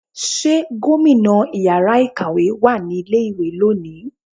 ṣe gómìnà ìyára ikáwe wá ní ilé ìwé loni?